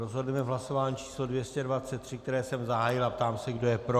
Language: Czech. Rozhodneme v hlasování číslo 223, které jsem zahájil, a ptám se, kdo je pro.